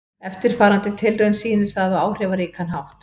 Eftirfarandi tilraun sýnir það á áhrifaríkan hátt.